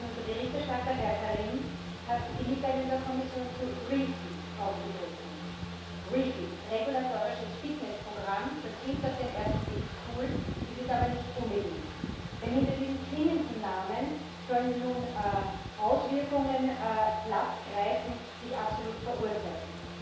Denn unser Berichterstatter, Herr Karim, hat die Mitteilung der Kommission zu REFIT aufgegriffen. REFIT Regulatorisches Fitnessprogramm das klingt auf den ersten Blick cool, ist es aber nicht unbedingt. Denn hinter diesem klingenden Namen sollen nun Auswirkungen Platz greifen, die ich absolut verurteile.